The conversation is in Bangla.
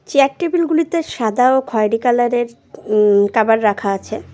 চেয়ার টেবিলগুলিতে সাদা ও খয়েরি কালারের উম কাবার রাখা আছে।